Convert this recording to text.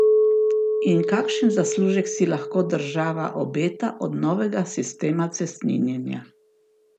In kakšen zaslužek si lahko država obeta od novega sistema cestninjenja?